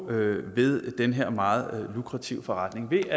ved den her meget lukrative forretning ved